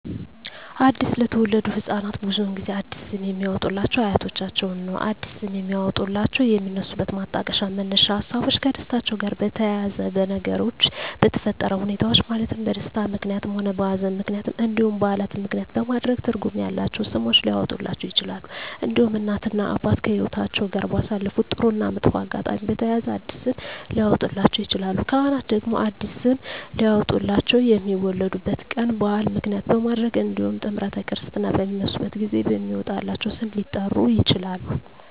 አዲስ ለተወለዱ ህፃናት ብዙውን ጊዜ አዲስ ስም የሚያወጡሏቸው አያቶቻቸውን ነው አዲስ ስም የሚያወጧላቸው የሚነሱበት ማጣቀሻ መነሻ ሀሳቦች ከደስታቸው ጋር በተያያዘ በነገሮች በተፈጠረ ሁኔታዎች ማለትም በደስታም ምክንያትም ሆነ በሀዘንም ምክንያት እንዲሁም በዓላትን ምክንያትም በማድረግ ትርጉም ያላቸው ስሞች ሊያወጡላቸው ይችላሉ። እንዲሁም እናት እና አባት ከህይወትአቸው ጋር ባሳለፉት ጥሩ እና መጥፎ አጋጣሚ በተያያዘ አዲስ ስም ሊያወጡላቸው ይችላሉ። ካህናት ደግሞ አዲስ ስም ሊያወጡላቸው የሚወለዱበት ቀን በዓል ምክንያት በማድረግ እንዲሁም ጥምረተ ክርስትና በሚነሱበት ጊዜ በሚወጣላቸው ስም ሊጠሩ ይችላሉ።